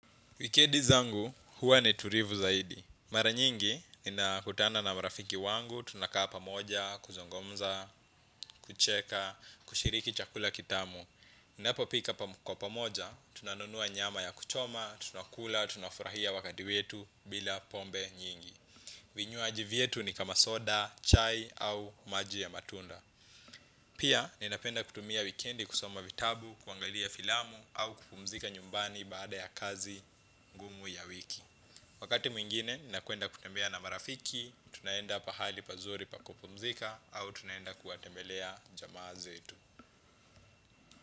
Wikendi zangu huwa ni tulivu zaidi. Mara nyingi nina kutana na marafiki wangu tunakaa pamoja kuzungumza kucheka kushiriki chakula kitamu. Ninapo pika kwa pamoja, tunanunua nyama ya kuchoma, tunakula, tunafurahia wakati wetu bila pombe nyingi. Vinywaji vyetu ni kama soda, chai au maji ya matunda. Pia, nina penda kutumia wikendi kusoma vitabu, kuangalia filamu au kupumzika nyumbani baada ya kazi ngumu ya wiki. Wakati mwingine nakwenda kutembea na marafiki tunaenda pahali pazuri pa kupumzika au tunaenda kuwatembelea jamaa zetu.